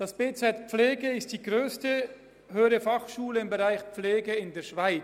Das BZ Pflege ist die grösste HF im Bereich Pflege in der Schweiz.